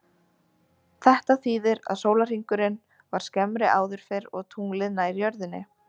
Þetta þýðir að sólarhringurinn var skemmri áður fyrr og tunglið nær jörðinni.